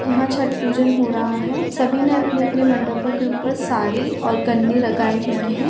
यहाँ छठ पूजन हो रहा है सभी ने अपने अपने मंडपों के ऊपर साड़ी और गन्ने लगाए हुए है।